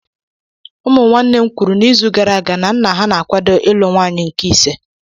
Ụmụ nwanne m kwuru na izu gara aga na nna ha na-akwado ịlụ nwunye nke ise.